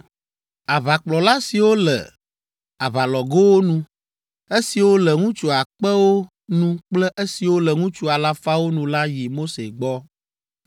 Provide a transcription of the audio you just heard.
Aʋakplɔla siwo le aʋalɔgowo nu, esiwo le ŋutsu akpewo nu kple esiwo le ŋutsu alafawo nu la yi Mose gbɔ,